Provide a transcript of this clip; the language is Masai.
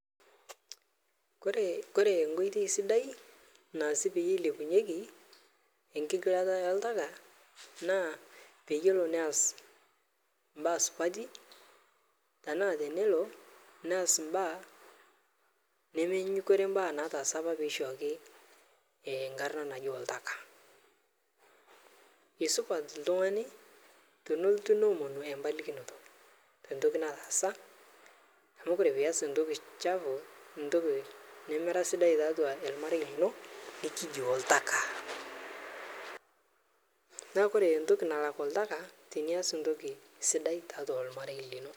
Kore, kore nkoitei sidai, naasi peilepunyeki enkigilata oltaka, naa payielo neas mbaa supati tanaa tenelo neas mbaa nemenyinyikore mbaa naatasa apapeishoki nkarna naji oltaka,e supat ltung'ane tonolotu noomonu epalikinoto tentoki nataasa amu kore payie iaas entoki chafu, ntoki nemera sidai taatua elmarei lino nikiji oltaka, naa kore entoki nalak oltaka naa tinias ntoki sidai taatua lmarei lino.